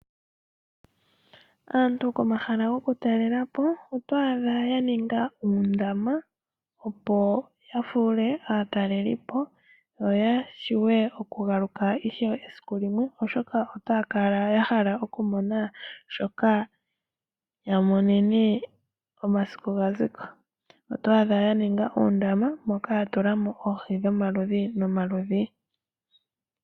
Aantu komahala goku talelapo oto adha ya ninga uundama opo yafuule aatalelipo yo yashiwe ishew okugaluka esiku limwe oshoka otaya kala yahala okumona shoka ya monene omasiku gaziko . Oto adha yaninga uundama moka yatulamo oohi dhomaludhi nomaludhi.